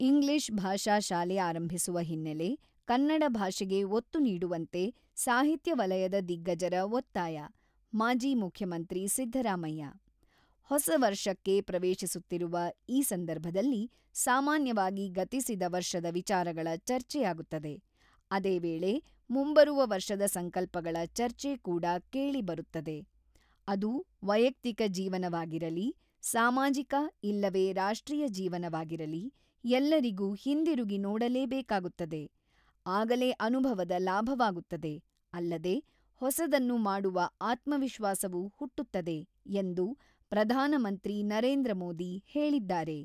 """English ಭಾಷಾ ಶಾಲೆ ಆರಂಭಿಸುವ ಹಿನ್ನೆಲೆ, ಕನ್ನಡ ಭಾಷೆಗೆ ಒತ್ತು ನೀಡುವಂತೆ ಸಾಹಿತ್ಯ ವಲಯದ ದಿಗ್ಗಜರ ಒತ್ತಾಯ""-ಮಾಜಿ ಮುಖ್ಯಮಂತ್ರಿ ಸಿದ್ದರಾಮಯ್ಯ ""ಹೊಸ ವರ್ಷಕ್ಕೆ ಪ್ರವೇಶಿಸುತ್ತಿರುವ ಈ ಸಂದರ್ಭದಲ್ಲಿ ಸಾಮಾನ್ಯವಾಗಿ ಗತಿಸಿದ ವರ್ಷದ ವಿಚಾರಗಳ ಚರ್ಚೆಯಾಗುತ್ತದೆ ; ಅದೇ ವೇಳೆ ಮುಂಬರುವ ವರ್ಷದ ಸಂಕಲ್ಪಗಳ ಚರ್ಚೆ ಕೂಡಾ ಕೇಳಿ ಬರುತ್ತದೆ ; ಅದು ವೈಯಕ್ತಿಕ ಜೀವನವಾಗಿರಲಿ, ಸಾಮಾಜಿಕ ಇಲ್ಲವೇ ರಾಷ್ಟ್ರೀಯ ಜೀವನವಾಗಿರಲಿ, ಎಲ್ಲರಿಗೂ ಹಿಂದಿರುಗಿ ನೋಡಲೇ ಬೇಕಾಗುತ್ತದೆ ; ಆಗಲೇ ಅನುಭವದ ಲಾಭವಾಗುತ್ತದೆ ; ಅಲ್ಲದೆ ಹೊಸದನ್ನು ಮಾಡುವ ಆತ್ಮ ವಿಶ್ವಾಸವೂ ಹುಟ್ಟುತ್ತದೆ"" ಎಂದು ಪ್ರಧಾನಮಂತ್ರಿ ನರೇಂದ್ರ ಮೋದಿ ಹೇಳಿದ್ದಾರೆ."